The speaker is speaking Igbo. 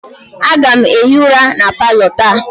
Aga m hie ụra na palọ taa